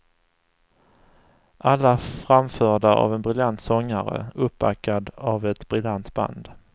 Alla framförda av en briljant sångare, uppbackad av ett briljant band.